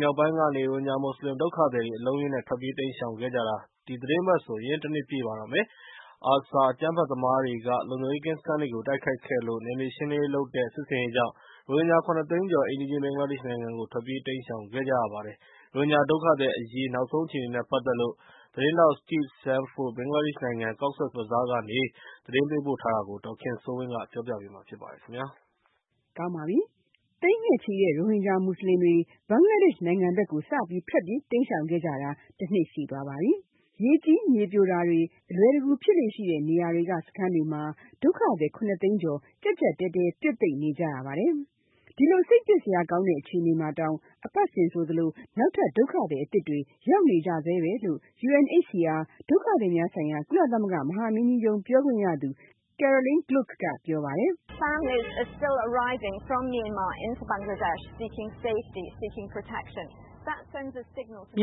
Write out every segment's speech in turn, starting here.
မြောက်ပိုင်းကနေ ရိုဟင်ဂျာမူဆလင်ဒုက္ခသည်တွေ အလုံးအရင်းနဲ့ ထွက်ပြေးတိမ်းရှောင်ခဲ့ကြတာ ဒီသီတင်းပတ်ဆို တနှစ်ပြည့်ပါတော့မယ်။ ARSA အကြမ်းဖက်သမားတွေက လုံခြုံရေးကင်းစခန်းတွေကို တိုက်ခိုက်ခဲ့လို့ နယ်မြေရှင်းလင်းရေးလုပ်တဲ့ စစ်ဆင်ရေးကြောင့် ရိုဟင်ဂျာ ၇ သိန်းကျော် အိမ်နီးချင်း ဘင်္ဂလားဒေ့်ရှ်နိုင်ဘက်ကို ထွက်ပြေးတိမ်းရှောင်ခဲ့ကြရပါတယ်။ ရိုဟင်ဂျာဒုက္ခသည်အရေး နောက်ဆုံးအခြေအနေနဲ့ ပတ်သက်လို့ သတင်းထောက် Steve Sandford က ဘင်္ဂလားဒေ့ရှ်နိုင်ငံ Cox’s Bazaar ကနေ VOA အတွက်သတင်းပေးပို့ထားပါတယ်။ ဒေါ်ခင်စိုးဝင်းက ပြောပြပေးမှာပါ။ သိန်းသောင်းချီတဲ့ ရိုဟင်ဂျာမူဆလင် ဘင်္ဂလားဒေ့ရှ်နိုင်ငံဘက်ကို စပြီး ထွက်ပြေးတိမ်းရှောင်ခဲ့ကြတာ တနှစ်ရှိသွားပါပြီ။ အခုအခြေအနေကတော့ တွေ့ရတဲ့အတိုင်းပါဘဲ။ ရေကြီးမြေပြိုတာတွေ အလွယ်တကူဖြစ်လေ့ရှိတဲ့ နေရာတွေက စခန်းတွေမှာ ဒုက္ခသည် ၇ သိန်းကျော် ကျပ်ကျပ်တည်းတည်း ပြွတ်သိပ်နေကြရပါတယ်။ ဒီလို စိတ်ပျက်စရာကောင်းတဲ့အခြေအနေမှာတောင် အပတ်စဉ် နောက်ထပ် ဒုက္ခသည်အသစ်တွေရောက်နေကြဆဲဘဲလို့ UNHCR ဒုက္ခသည်များဆိုင်ရာ ကုလသမဂ္ဂမဟာမင်းကြီးရုံးပြောခွင့်ရသူ Carolyn Gluck ကပြောပါတယ်။ “မ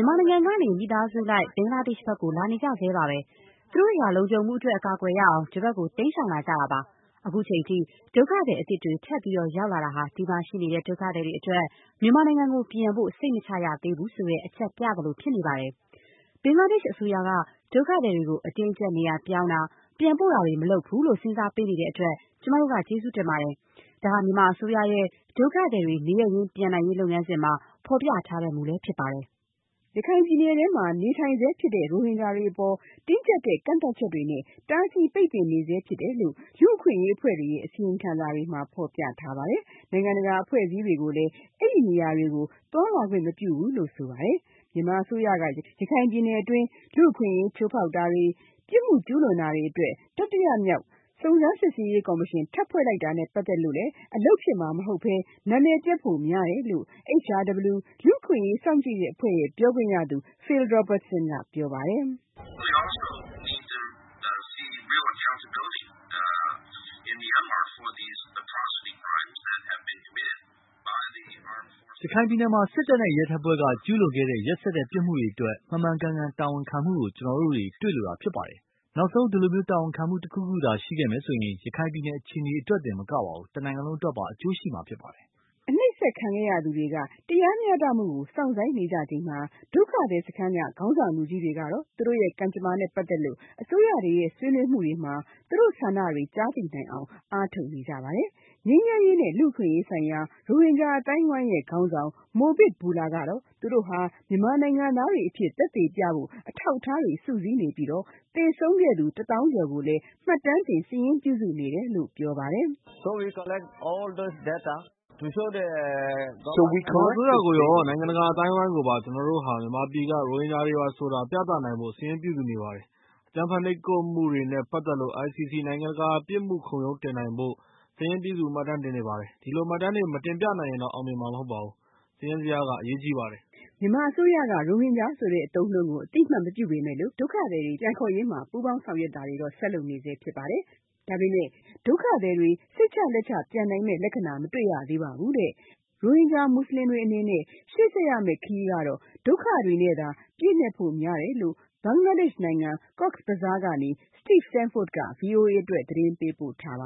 ြန်မာနိုင်ငံကနေ မိသားစုလိုက် ဘင်္ဂလားဒေ့်ရှ်ဘက်ကို လာနေကြဆဲပါဘဲ။ သူတို့တွေဟာ လုံခြုံမှုအတွက် အကာအကွယ်ရအောင် ဒီဘက်ကို တိမ်းရှောင်လာကြတာပါ။ အခုအချိန်ထိ ဒုက္ခသည်အသစ်တွေ ထပ်ရောက်တာဟာ ဒီမှာရှိနေတဲ့ ဒုက္ခသည်တွေအတွက် မြန်မာနိုင်ငံကိုပြန်ဖို့ စိတ်မချရသေးဘူးဆိုတဲ့ အချက်ပြသလိုဖြစ်နေပါတယ်။ ဘင်္ဂလားဒေ့်ရှ်အစိုးရက ဒုက္ခသည်တွေကို အတင်းအကျပ်နေရာပြောင်းတာ၊ ပြန်ပို့တာတွေမလုပ်ဘူးလို့ စဉ်းစားပေးနေတဲ့အတွက် ကျမတို့ကကျေးဇူးတင်ပါတယ်။ ဒါဟာ မြန်မာအစိုးရရဲ့ ဒုက္ခသည်တွေနေရပ်ရင်းပြန်နိုင်ရေးလုပ်ငန်းစဉ်မှာ ဖေါ်ပြထားတဲ့မူလည်းဖြစ်ပါတယ်။ “ ရခိုင်ပြည်နယ်တွင်းရှိနေဆဲဖြစ်တဲ့ ရိုဟင်ဂျာတွေအပေါ် တင်းကျပ်တဲ့ကန့်သတ်ချက်တွေနဲ့ တားဆီးပိတ်ပင်နေဆဲဖြစ်တယ်လို့ လူ့အခွင့်အရေးအဖွဲ့တွေရဲ့ အစီရင်ခံစာတွေမှာ ဖေါ်ပြထားပါတယ်။ နိုင်ငံတကာအဖွဲ့အစည်းတွေကိုလည်း အဲဒီနေရာတွေ သွားလာခွင့်မပြုဘူးလို့ဆိုပါတယ်။ မြန်မာအစိုးရက ရခိုင်ပြည်နယ်တွင်း လူ့အခွင့်အရေးချိုးဖေါက်တာတွေ၊ ပြစ်မှုတွေအတွက် တတိယမြောက် စုံးစမ်းစစ်ရေးကော်မရှင်ထပ်ဖွဲ့လိုက်တာနဲ့ ပတ်သက်လို့ အလုပ်ဖြစ်မှာမဟုတ်ဘဲ၊ နံမည်ပျက်ဖို့ ပိုများတယ်လို့ HRW လူ့အခွင့်အရေးစောင့်ကြည့်တဲ့အဖွဲ့ ပြောခွင့်ရသူ Phil Robertson ကပြောပါတယ်။ “ရခိုင်ပြည်နယ်မှာ စစ်တပ်နဲ့ ရဲတပ်ဖွဲ့က ကျူးလွန်ခဲ့တဲ့ ရက်စက်တဲ့ပြစ်မှုတွေအတွက် မှန်မှန်ကန်ကန် တာဝန်ခံမှုကို ကျနော်တို့တွေ့လိုတာဖြစ်ပါတယ်။ နောက်ဆုံး ဒီလိုတာဝန်ခံမှုတခုခုသာ ရှိခဲ့မယ်ဆိုရင် ရခိုင်ပြည်နယ်အခြေအနေအတွက်တင်မကပါဘူး တနိုင်ငံလုံးအတွက်ပါ အကျိုးရှိမှာဖြစ်ပါတယ်။” နှိပ်ကွပ်ခံခဲ့ရသူတွေက တရားမျှတမှုကိုစောင့်ဆိုင်းနေကြချိန်မှာ ဒုက္ခသည်စခန်းက ခေါင်းဆောင် လူကြီးတွေက သူတို့ကံကြမ္မာနဲ့ ပတ်သက်လို့ အစိုးရတွေရဲ့ ဆွေးနွေးမှုတွေမှာ သူတို့ဆန္ဒတွေကြားသိနိုင်အောင် အားထုတ်နေကြပါတယ်။ ငြိမ်းချမ်းရေးနဲ့ လူ့အခွင့်အရေးဆိုင်ရာ ရိုဟင်ဂျာ အသိုင်းအဝိုင်းရဲ့ခေါင်းဆောင် Mohib Bullah က သူတို့ဟာ မြန်မာနိုင်ငံသားတွေအဖြစ်သက်သေပြဖို့ အထောက်အထားတွေ စုစည်းနေပြီး၊ သေဆုံးသူ တသောင်းကျော်ကိုလည်း မှတ်တမ်းတင်စာရင်းပြုစုနေတယ်လို့ ပြောပါတယ်။ “မြန်မာအစိုးရကိုရော၊ နိုင်ငံတကာအသိုင်းအဝိုင်းကိုပါ ကျနော်တို့ဟာ မြန်မာပြည်က ရိုဟင်ဂျာတွေပါဆိုတာ ပြသနိုင်ဖို့ စာရင်းပြုစုနေပါတယ်။ အကြမ်းဖက်နှိပ်ကွပ်မှုတွေနဲ့ ပတ်သက်လို့ ICC နိုင်ငံတကာပြစ်မှုခုံရုံးတင်နိုင်ဖို့ စာရင်းပြုစု မှတ်တမ်းတင်နေပါတယ်။ ဒီလို မှတ်တမ်းတွေမတင်ပြနိုင်ရင်တော့ အောင်မြင်မှမဟုတ်ပါဘူး။ စာရင်းဇယားကအရေးကြီးပါတယ်။” မြန်မာအစိုးရက ရိုဟင်ဂျာဆိုတဲ့ အသုံးအနှုန်းကို အသိအမှတ်မပြုပေမဲ့ ဒုက္ခသည်နေရပ် ရင်းပြန်ရေး ဆွေးနွေးတာတွေကတော ဆက်လုပ်ကြနေကြဆဲဖြစ်ပါတယ်။ ဒါပေမဲ့ ဒုက္ခသည်တွေ စိတ်ချလက်ချပြန်နိုင်မယ့် လက္ခဏာ မတွေ့ရသေးပါဘူးတဲ့။ ရိုဟင်ဂျာ မူဆလင်တွေအနေနဲ့ ရှေ့ခရီးဆက်ရမယ့်ခရီးမှာ ဒုက္ခတွေနဲ့ ရင်ဆိုင်ရဖို့များတယ်လို့ Cox’s Bazaar ကနေ Steve Sanford က သတင်းပေးပို့ ထားပါ